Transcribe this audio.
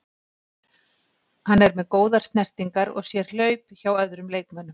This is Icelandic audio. Hann er með góðar snertingar og sér hlaup hjá öðrum leikmönnum.